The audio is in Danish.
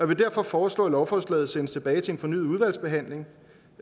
vil derfor foreslå at lovforslaget sendes tilbage til en fornyet udvalgsbehandling